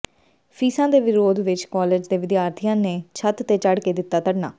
ਫ਼ੀਸਾਂ ਦੇ ਵਿਰੋਧ ਵਿੱਚ ਕਾਲਜ ਦੇ ਵਿਦਿਆਰਥੀਆਂ ਨੇ ਛੱਤ ਤੇ ਚੜ ਕੇ ਦਿੱਤਾ ਧਰਨਾ